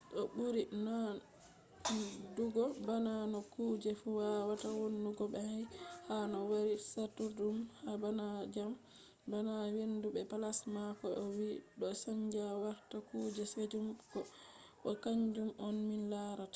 do buri nandugo bana no kuje fu wawata wonugo nai ha no wari satudum bana dyam bana hendu be plasma ko be o vi do chanja warta kuje kesum bo kanjum on min larata